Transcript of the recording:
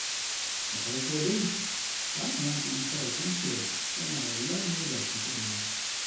Da farko dai ya kamata Isa ya san cewa yana rayuwa ne ba shi kaɗai ba.